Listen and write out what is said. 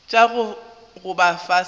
tša go gogoba fase gomme